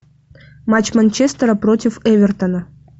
матч манчестера против эвертона